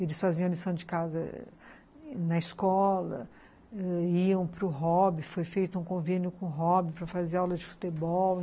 Eles faziam lição de casa na escola, iam para o hobby, foi feito um convênio com o hobby para fazer aula de futebol.